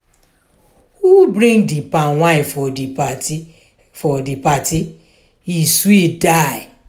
who bring di palmwine for di party for di party e sweet die.